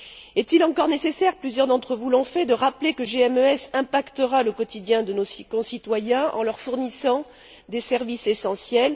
Est il encore nécessaire plusieurs d'entre vous l'ont fait de rappeler que GMES impactera le quotidien de nos concitoyens en leur fournissant des services essentiels?